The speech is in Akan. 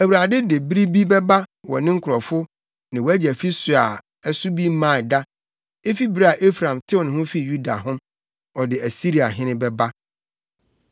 Awurade de bere bi bɛba wo ne wo nkurɔfo ne wʼagya fi so a ɛso bi mmaa da, efi bere a Efraim tew ne ho fii Yuda ho; ɔde Asiriahene bɛba.”